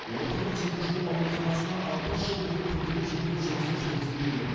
орталық теміржол ауруханасына алпыс жыл бойы күрделі жөндеу жұмысы жүргізілмеген